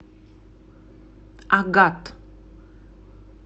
агат